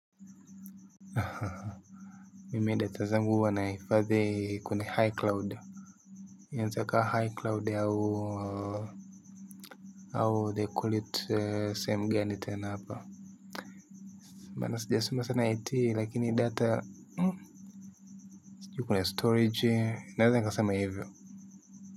Ha ha ha mimi data zangu huwa nahifadhi kwenye high cloud inaezakaa high cloud au au they call it eeh sehemu gani tena hapa maana sijasoma sana IT lakini data mmh sijui kwenye storage naeza nikasema hivyo.